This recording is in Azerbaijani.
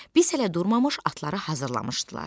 Biz hələ durmamış atları hazırlamışdılar.